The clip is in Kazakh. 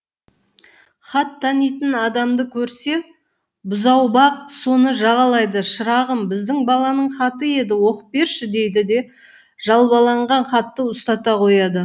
хат танитын адамды көрсе бұзаубақ соны жағалайды шырағым біздің баланың хаты еді оқып берші дейді де жалбаланған хатты ұстата қояды